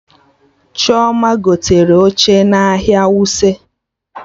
Chioma gotere oche n'ahịa Wuse